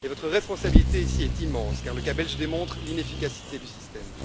Votre responsabilité ici est immense, car le cas belge démontre l'inefficacité du système.